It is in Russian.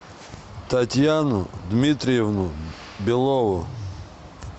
татьяну дмитриевну белову